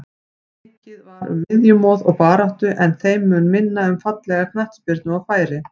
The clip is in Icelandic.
Mikið var um miðjumoð og baráttu en þeim mun minna um fallega knattspyrnu og færi.